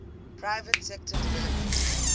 private sector development